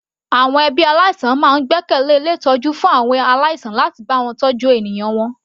Àwọn ẹbí aláìsàn máa ń gbẹ́kẹ̀lẹ́ ilé ìtọ́jú fún àwọn aláìsàn láti bá wọn tọ́jú ènìyàn wọn.